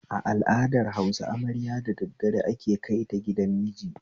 A al'adar Hausa, amarya da daddare ake kaita gidan miji